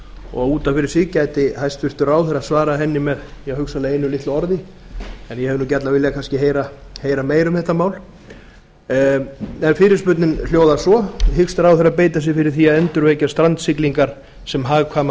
og út af fyrir sig gæti hæstvirtur ráðherra svarað henni með hugsanlega einu litlu orði en ég hefði gjarnan viljað kannski heyra meira um þetta mál fyrirspurnin hljóðar svo hyggst ráðherra beita sér fyrir því að endurvekja strandsiglingar sem hagkvæman